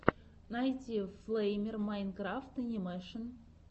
найти флэймер майнкрафт анимэшен